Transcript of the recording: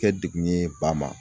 Kɛ degun ye ba ma.